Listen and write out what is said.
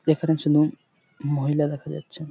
এখানে শুধু মহিলা দেখা যাচ্ছে ।